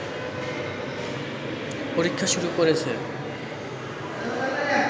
পরীক্ষা শুরু করেছে